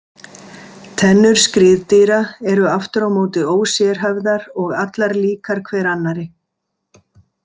Tennur skriðdýra eru aftur á móti ósérhæfðar og allar líkar hver annarri.